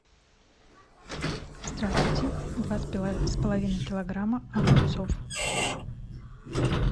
здравствуйте два с половиной килограмма огурцов